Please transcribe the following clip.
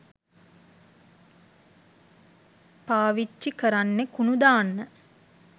පාවිච්චි කරන්නෙ කුණු දාන්න.